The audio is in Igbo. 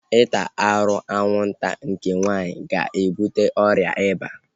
Ịta arụ anwụnta nke nwaanyị ga-ebuta ọrịa iba